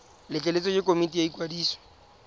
letleletswe ke komiti ya ikwadiso